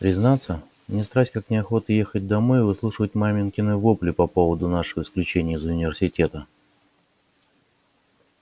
признаться мне страсть как неохота ехать домой и выслушивать маменькины вопли по поводу нашего исключения из университета